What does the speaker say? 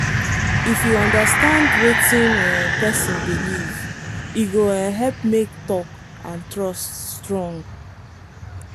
if you understand wetin um person believe e go um help make talk and trust strong.